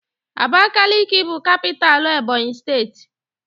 Abakiliki bụ capitalú Ebọnyi steeti.